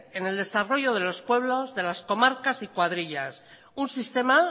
en el desarrollo de los pueblos de las comarcas y cuadrillas un sistema